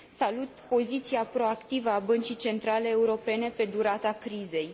Salut poziția proactivă a Băncii Centrale Europene pe durata crizei.